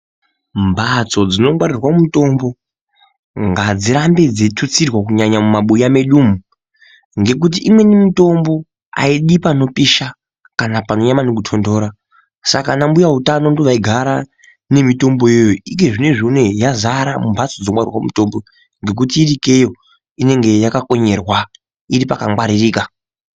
Mbatso dzinongwarirwe mutombo, ngadzirambe dzeithutsirwa kunyanya mumabuya medu umu, ngekuti imweni mitombo aidi panopisha kana panonyanya maningi kutontora. Saka anambuya utano ndiwo vaigara nemitombo iyoyo. Ike zvinezvi unowu yadzara mumphatso dzinongwarire mutombo ngekuti ikeyo inonge yakakonyerwa iri pakangwaririka.